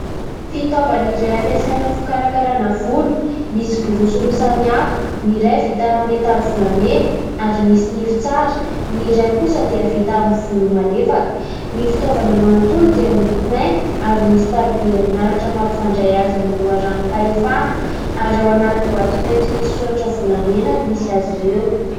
Fitaovana iray ampiasaina amin'ny fikarakarana volo. Misy borosy roa samihafa, ny iray vita amin'ny metaly volamena ary misy nify tsara, ny iray kosa dia vita amin'ny volo malefaka. Ny fitaovana manontolo dia miloko mainty ary misy tariby herinaratra mampifandray azy amin'ny loharanom-pahefana ary ao anaty boaty mainty misy soratra volamena no misy azy ireo.